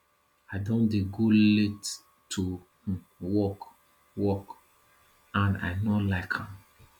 i don dey go late to work work and i no like am